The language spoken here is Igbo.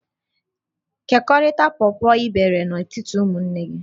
Kekọrịta pọpọ ị bere n'etiti ụmụnne gị!